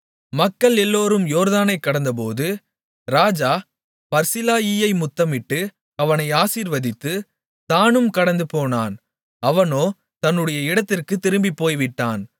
மக்கள் எல்லோரும் யோர்தானைக் கடந்தபோது ராஜா பர்சிலாயியை முத்தமிட்டு அவனை ஆசீர்வதித்து தானும் கடந்துபோனான் அவனோ தன்னுடைய இடத்திற்குத் திரும்பிப்போய்விட்டான்